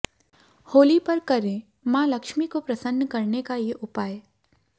होली पर करें मां लक्ष्मी को प्रसन्न करने का ये उपाय